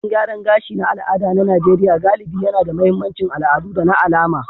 Salon gyaran gashi na al'ada na Najeriya galibi yAna da mahimmancin al'adu da na alama,